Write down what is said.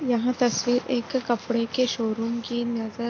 यहाँ तस्वीर एक कपड़े के शोरूम की नजर --